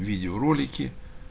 видеоролики